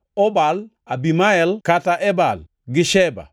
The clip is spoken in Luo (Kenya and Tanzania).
Obal, Abimael (kata Ebal), gi Sheba,